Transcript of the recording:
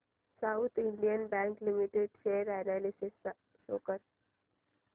south Indian Bank Limited share analysis show कर